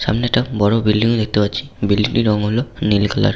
সামনে একটা বড় বিল্ডিং -ও দেখতে পাচ্ছি। বিল্ডিং -টির রং হলো নীল কালার ।